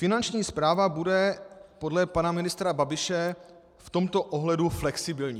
Finanční správa bude podle pana ministra Babiše v tomto ohledu flexibilní.